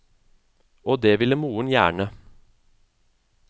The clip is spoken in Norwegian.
Og det ville moren gjerne.